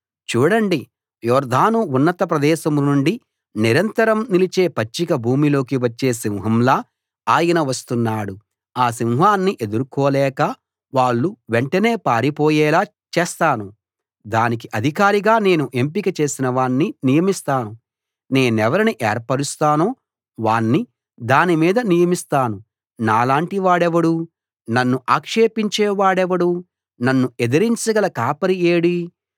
చూడండి యొర్దాను ఉన్నత ప్రదేశం నుండి నిరంతరం నిలిచే పచ్చిక భూమిలోకి వచ్చే సింహంలా ఆయన వస్తున్నాడు ఆ సింహాన్ని ఎదుర్కోలేక వాళ్ళు వెంటనే పారిపోయేలా చేస్తాను దానికి అధికారిగా నేను ఎంపిక చేసిన వాణ్ణి నియమిస్తాను నేనెవరిని ఏర్పరుస్తానో వాణ్ణి దాని మీద నియమిస్తాను నాలాటి వాడెవడు నన్ను ఆక్షేపించే వాడెవడు నన్ను ఎదిరించగల కాపరి ఏడీ